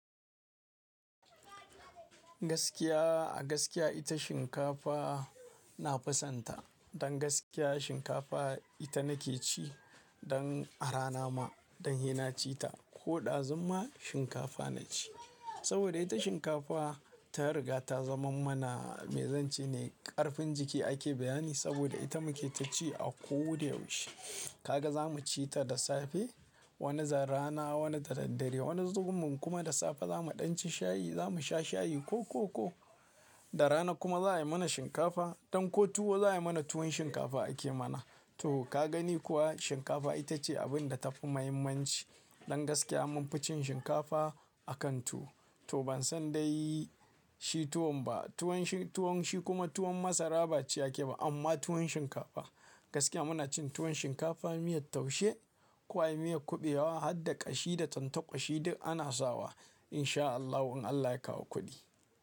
Gaskiya a gaskiya ita shinkafa na fi sonta. Don gaskiya shinkafa ita nake ci. Don arana ma don hina ci ta. Ko ɗazun ma shinkafa na ci. Saboda ita shinkafa ta riga ta zama mana mai zance ne. Karfin jiki ake bayani saboda ita muke ta ci a ko da yaushe. Kaga za mu ci ta da safe, wani zai rana, wani da daddare, wani zuggum kuma da safe za mu ɗanci shayi, za mu sha shayi ko koko. Da rana kuma za a yi mana shinkafa. Don ko tuwo za a yi mana tuwon shinkafa ake mana. To ka gani kuwa shinkafa ita ce abin da ta fi mahimmanci. Don gaskiya mun fi cin shinkafa a kan tuwo. To ban san dai shi tuwon ba. Tuwon shi, tuwon shi kuma tuwon masara ba ciyake ba amma tuwon shinkafa. Gaskiya muna cin tuwon shinkafa miyar taushe, kuwa miyar kuɓewa har da ƙashi da tantakwashi duk ana sawa in sha Allah. In Allah ya kawo kuɗi.